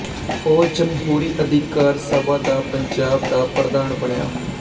ਉਹ ਜਮਹੂਰੀ ਅਧਿਕਾਰ ਸਭਾ ਦਾ ਪੰਜਾਬ ਦਾ ਪ੍ਰਧਾਨ ਬਣਿਆ